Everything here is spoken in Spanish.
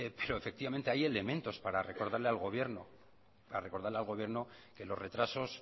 pero efectivamente hay elementos para recodarle al gobierno que los retrasos